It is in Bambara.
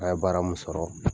An ye bara mun sɔrɔ,